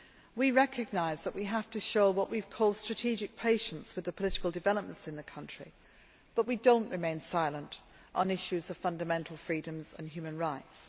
We recognise that we have to show what we call strategic patience' with the political developments in that country, but not remain silent on issues of fundamental freedoms and human rights.